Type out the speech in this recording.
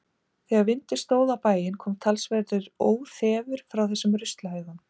Þegar vindur stóð á bæinn kom talsverður óþefur frá þessum ruslahaugum.